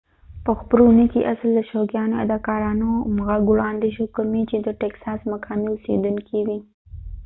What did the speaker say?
په خپروني کي اصل د شوقيانو اداکارانو غږ وړاندي شو کومي چي د ټيکساس مقامي اوسيدونکي وي